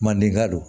Mandenka don